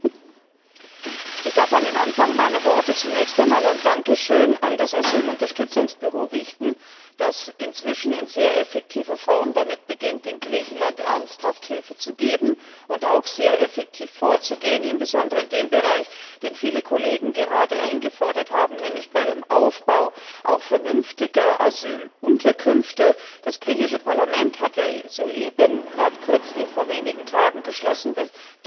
Frau Präsidentin! Ich darf an den Anfang meines Redebeitrags zunächst einmal ein Dankeschön an das Asylunterstützungsbüro richten, das inzwischen in sehr effektiver Form damit beginnt, in Griechenland ernsthaft Hilfe zu leisten und auch sehr effektiv vorzugehen, insbesondere in dem Bereich, den viele Kollegen gerade eingefordert haben, nämlich bei dem Aufbau vernünftiger Asylunterkünfte. Das griechische Parlament hat ja vor wenigen Tagen beschlossen, dass